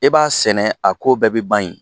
E b'a sɛnɛ, a ko bɛɛ bɛ ban yen.